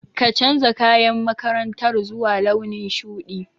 Ka canja kayan makarantar zuwa launin shuɗi.